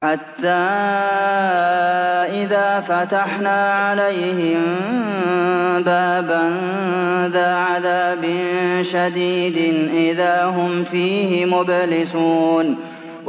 حَتَّىٰ إِذَا فَتَحْنَا عَلَيْهِم بَابًا ذَا عَذَابٍ شَدِيدٍ إِذَا هُمْ فِيهِ مُبْلِسُونَ